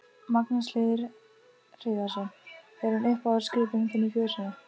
Magnús Hlynur Hreiðarsson: Er hún uppáhaldsgripurinn þinn í fjósinu?